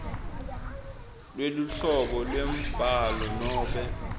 lweluhlobo lwembhalo nobe